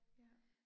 Ja